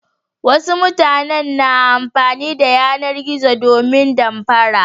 Wasu matanen na amfani da yanar-zo domin damfara.